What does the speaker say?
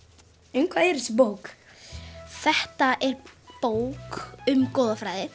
um hvað er þessi bók þetta er bók um goðafræði